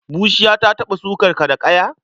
Bushiya ta taɓa sukar ka da ƙaya?